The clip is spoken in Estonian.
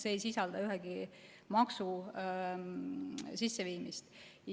See ei sisalda ühegi maksu sisseviimist.